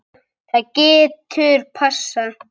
Það getur passað.